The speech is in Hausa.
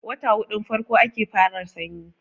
wata hudun farko ake fara sanyi